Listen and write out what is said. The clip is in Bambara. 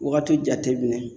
Wagati jate minɛ